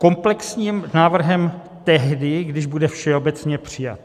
Komplexním návrhem tehdy, když bude všeobecně přijat.